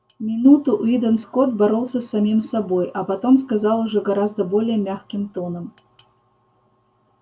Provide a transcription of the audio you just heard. минуту уидон скотт боролся с самим собой а потом сказал уже гораздо более мягким тоном